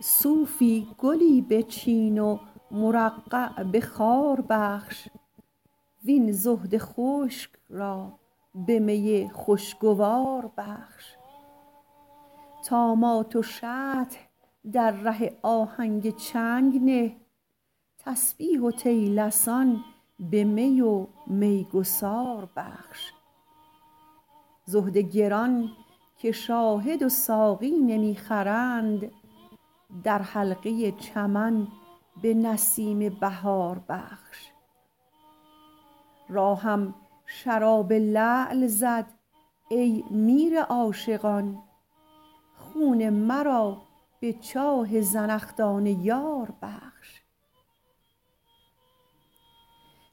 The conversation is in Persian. صوفی گلی بچین و مرقع به خار بخش وین زهد خشک را به می خوشگوار بخش طامات و شطح در ره آهنگ چنگ نه تسبیح و طیلسان به می و میگسار بخش زهد گران که شاهد و ساقی نمی خرند در حلقه چمن به نسیم بهار بخش راهم شراب لعل زد ای میر عاشقان خون مرا به چاه زنخدان یار بخش